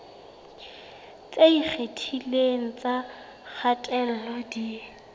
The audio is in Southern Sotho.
tse ikgethileng tsa kgatello di